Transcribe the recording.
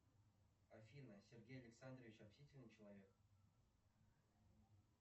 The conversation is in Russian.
афина сергей александрович общительный человек